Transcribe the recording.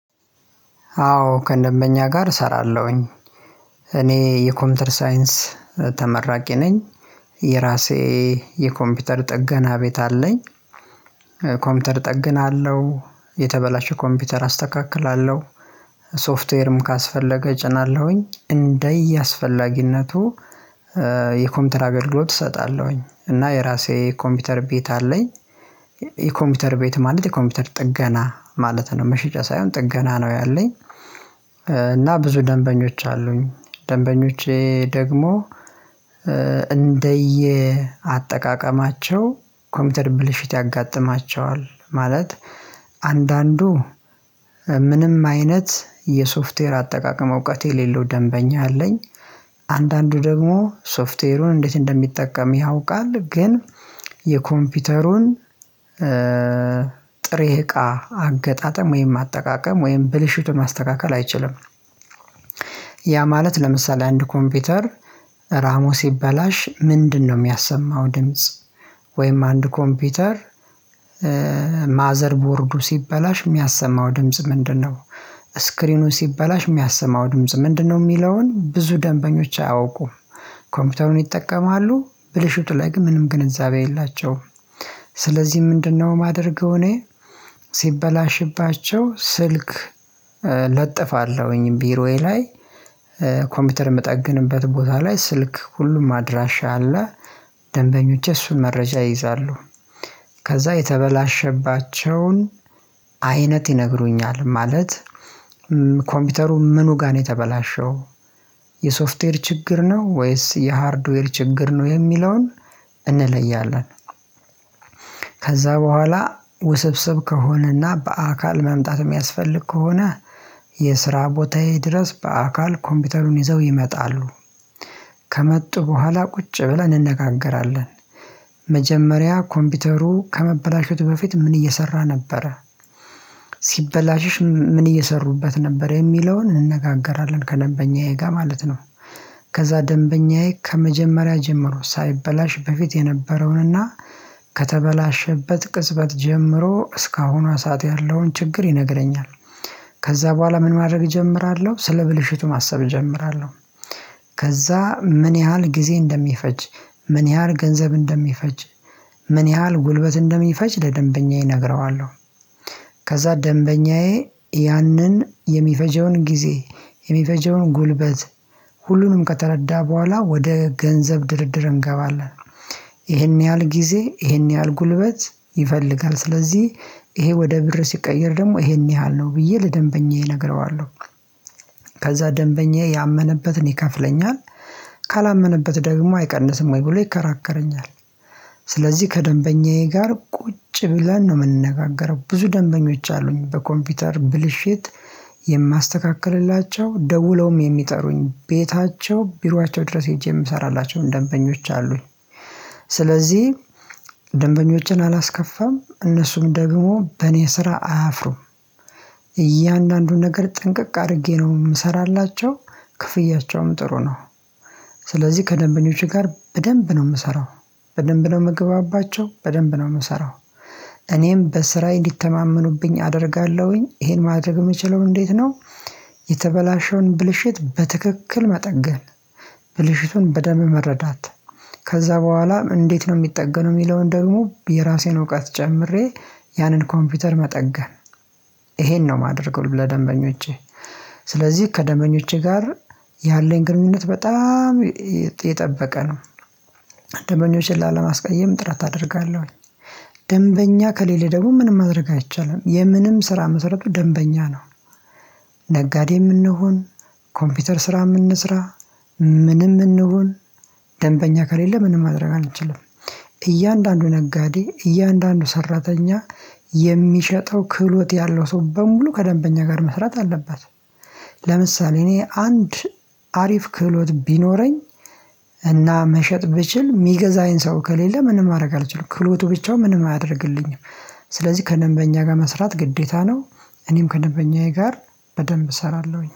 አዎ ከደንበኛ ጋር እሰራለሁኝ። እኔ የኮምፒውተር ሳይንስ ተመራቂ ነኝ። የራሴ የኮምፒውተር ጥገና ቤት አለኝ። ኮምፒውተር ጠግናለሁ የተበላሸ ኮምፒውተር አስተካክላለሁ ሶፍትዌርም ካስፈለገ እጭናለሁኝ እንደየአስፈላጊነቱ። የኮምፒውተር አገልግሎት እሰጣለሁኝ እና የራሴ ኮምፒውተር ቤት አለኝ። የኮምፒውተር ቤት ማለት የኮምፒውተር ጥገና ማለት ነው መሸጫ ሳይሆን ጥገና ነው ያለኝ። እና ብዙ ደንበኞች አሉኝ ደንበኞቼ ደግሞ እንደየ አጠቃቀማቸው ኮምፒውተር ብልሽት ያጋጥማቸዋል ማለት አንዳንዱ ምንም አይነት የሶፍትዌር አጠቃቀም እውቀት የሌለው ደንበኛ አለኝ። አንዳንዱ ደግሞ ሶፍትዌሩን እንዴት እንደሚጠቀም ያውቃል ግን የኮምፒውተሩን ጥሬ እቃ አገጣጠም ወይም አጠቃቀም ወይም ብልሽቱን ማስተካከል አይችልም። ያ ማለት ለምሳሌ አንድ ኮምፒውተር ራሞስ ይበላሽ ምንድነው የሚያሰማው ድምጽ? ወይም አንድ ኮምፒውተር ማዘርቦርዱ ሲበላሽ የሚያሰማው ድምጽ ምንድነው? ስክሪኑን ሲበላሽ የሚያሰማው ድምጽ ምንድነው? የሚለውን ብዙ ደንበኞች አያውቁም ኮምፒውተሩን ይጠቀማሉ ብልሽቱ ላይ ግን ምንም ግንዛቤ የላቸውም። ስለዚህ ምንድነው ማደርገው እኔ ሲበላሽባቸው ስልክ ለጥፋለሁኝ ቢሮዬ ላይ። ኮምፒውተር የምጠግንበት ቦታ ላይ ስልክ ሁሉም አድራሻ አለ ደንበኞቼ እሱን መረጃ ይይዛሉ። ከዛ የተበላሸባቸውን አይነት ይነግሩኛል ማለት ኮምፒውተሩ ምኑ ጋር ነው የተበላሸው የሶፍትዌር ችግር ነው ወይስ የሃርድዌር ችግር ነው የሚለውን እንለያለን። ከዛ በኋላ ውስብስብ ከሆነና በአካል መምጣት የሚያስፈልግ ከሆነ የስራ ቦታዬ ድረስ በአካል ኮምፒውተሩን ይዘው ይመጣሉ። ከመጡ በኋላ ቁጭ ብለን እንነጋገራለን መጀመሪያ ኮምፒውተሩ ከመበላሸቱ በፊት ምን እየሰራ ነበረ ሲበላሽሽ ምን እየሰሩበት ነበር የሚለውን እንነጋገራለን ከደምበኛዬ ጋር ማለት ነው። ከዛ ደንበኛዬ ከመጀመሪያ ጀምሮ ሳይበላሽ በፊት የነበረውንና ከተበላሸበት ቅጽበት ጀምሮ እስካሁኗ ሰዓት ያለውን ችግር ይነግረኛል። ከዛ በኋላ ምን ማድረግ እጀምራለሁ ስለ ብልሽቱ ማሰብ እጀምራለሁ። ከዛ ምን ያህል ጊዜ እንደሚፈጅ ምን ያህል ገንዘብ እንደሚፈጅ ምን ያህል ጉልበት እንደሚፈጅ ለደምበኛዬ እነግረዋለሁ። ከዛ ደንበኛዬ ያንን የሚፈጀውን ጊዜ የሚፈጀውን ጉልበት ሁሉንም ከተረዳ በኋላ ወደ ገንዘብ ድርድር እንገባለን። ይሄን ያህል ጊዜ ይሄን ያህል ጉልበት ይፈልጋል ስለዚህ ይሄ ወደ ብር ሲቀየር ደግሞ ይሄን ያህል ነው ብዬ ለደንበኛ እነግረዋለሁ። ከዛ ደንበኛ ያመነበትን ይከፍለኛል ካላመነበት ደግሞ አይቀንስም ወይ ብሎ ይከራከረኛል። ስለዚህ ከደንበኛዬ ጋር ቁጭ ብለን ነው የምንነጋገረው ብዙ ደንበኞች አሉኝ በኮምፒውተር ብልሽት የማስተካክልላቸው ደውለውም የሚጠሩኝ ቤታቸው ቢሯቸው ድረስ ሄጄ የምሰራላቸውን ደንበኞች አሉኝ። ስለዚህ ደንበኞችን አላስከፋም እነሱም ደግሞ በእኔ ስራ አያፍሩም። እያንዳንዱን ነገር ጥንቅቅ አድርጌ ነው የምሰራላቸው ክፍያቸውም ጥሩ ነው። ስለዚህ ከደንበኞቼ ጋር በደንብ ነው የምሰራው በደንብ ነው የምግባባቸው በደንብ ነው የምሰራው። እኔም በስራ እንዲተማመኑብኝ አደርጋለሁኝ ይሄን ማድረግ የምችለው እንዴት ነው? የተበላሸውን ብልሽት በትክክል መጠገን ብልሽቱን በደም መረዳት ከዛ በኋላ እንዴት ነው የሚጠገነው የሚለውን ደግሞ የራሴን እውቀት ጨምሬ ያንን ኮምፒውተር መጠገን ይሄን ነው የማደርገው ለደንበኞቼ። ስለዚህ ከደምበኞቼ ጋር ያለኝ ግንኙነት በጣም የጠበቀ ነው። ደምበኞችን ላለማስቀየም ጥረት አደርጋለሁኝ። ደንበኛ ከሌለ ደቡብ ምንም ማድረግ አይቻልም የምንም ስራ መሰረቱ ደንበኛ ነው። ነጋዴምንሆን ኮምፒውተር ስራምእንስራ ምንም እንሁን ደንበኛ ከሌለ ምንም ማድረግ አንችልም። እያንዳንዱ ነጋዴ እያንዳንዱ ሰራተኛ የሚሸጠው ክህሎት ያለው ሰው በሙሉ ከደንበኛ ጋር መስራት አለባት ለምሳሌ እኔ አንድ አሪፍ ክህሎት ቢኖረኝ እና መሸጥ ብችል የሚገዛኝ ሰው ከሌለ ምንም ማድረግ አልችልም ክህሎቱ ብቻውን ምንም አያደርግልኝም። ስለዚህ ከደንበኛ ጋር መስራት ግዴታ ነው። እኔም ከደንበኛዬ ጋር በደንብ እሰራለሁኝ